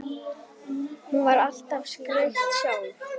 Hún var alltaf skreytt sjálf.